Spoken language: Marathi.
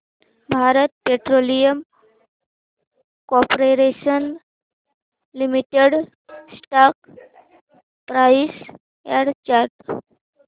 Bharat petroleum corporation limited stock price and chart